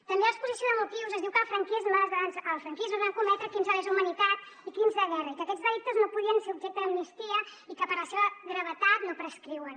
també a l’exposició de motius es diu que en el franquisme es van cometre crims de lesa humanitat i crims de guerra i que aquests delictes no podien ser objecte d’amnistia i que per la seva gravetat no prescriuen